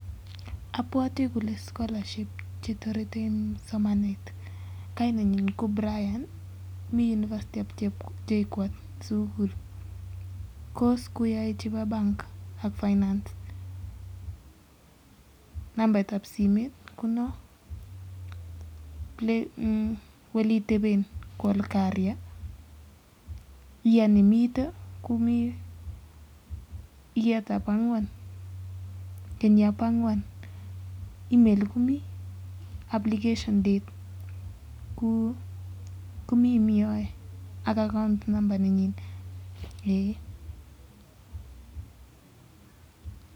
Abwote kole Chu [scholarship] chebo sukul ak Bo chi nekile Brian ak nambarit nyi Nebo simet konon ak bunu Kenya ak somani